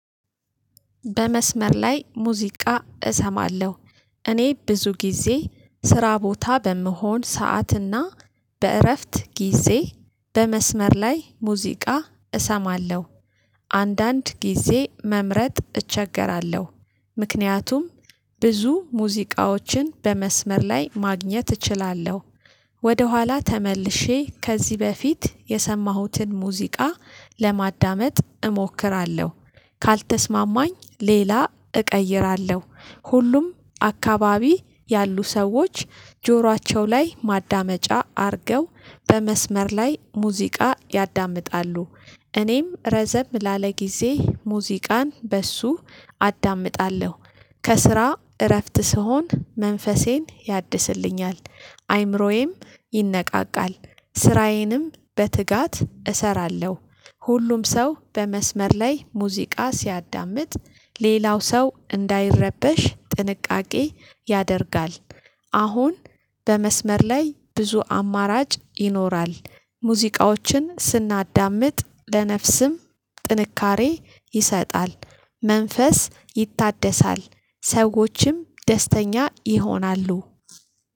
በመስመር ላይ ሙዚቃ እሰማለሁ። እኔ ብዙ ጊዜ ስራ ቦታ በምሆን ሰዓትና በእረፍት ጊዜ በመስመር ላይ ሙዚቃ እሰማለሁ። አንዳንድ ጊዜ መምረጥ እቸገራለሁ። ምክንያቱም ብዙ ሙዚቃዎችን በመስመር ላይ ማግኘት እችላለሁ። ወደኋላ ተመልሼ ከዚህ በፊት የሰማሁትን ሙዚቃ ለማዳመጥ እሞክራለሁ። ካልተስማማኝ ሌላ እቀይራለሁ። ሁሉም አካባቢ ያሉ ሰዎች ጆሯቸው ላይ ማዳመጫ አድርገው በመስመር ላይ ሙዚቃ ያዳምጣሉ። እኔም ረዘም ላለ ጊዜ ሙዚቃን በእሱ አዳምጣለሁ። ከስራ እረፍት ስሆን መንፈሴን ያድስልኛል። አይምሮዬም ይነቃቃል ስራዬንም በትጋት እሰራለሁ። ሁሉም ሰው በመስመር ላይ ሙዚቃ ሲያዳምጥ ሌላው ሰው እንዳይረበሽ ጥንቃቄ ያደርጋል። አሁን በመስመር ላይ ብዙ አማራጭ ይኖራል። ሙዚቃዎችን ስናዳምጥ ለነፍስም ጥንካሬ ይሰጣል። መንፈስ ይታደሳል። ሰዎችም ደስተኛ ይሆናሉ።